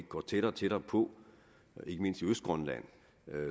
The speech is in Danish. går tættere og tættere på ikke mindst i østgrønland